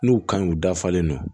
N'u kan u dafalen don